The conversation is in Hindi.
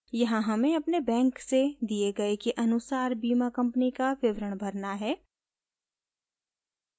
यहाँ हमें अपने बैंक से दिए गए के अनुसार बीमा कंपनी का विवरण भरना है